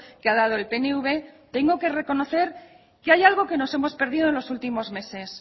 que ha dado el pnv tengo que reconocer que hay algo que nos hemos perdido en los últimos meses